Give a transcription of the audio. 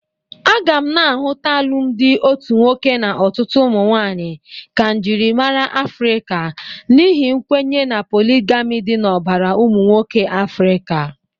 A ga na-ahụta alụmdị otu nwoke na ọtụtụ ụmụnwaanyị ka njịrịmara Afrịka n'ihi nkwenye na poligami dị n'ọbara ụmụnwoke Afrịka.